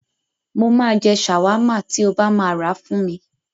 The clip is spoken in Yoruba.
Mo máa jẹ ṣàwámà tí o bá máa rà fún mi.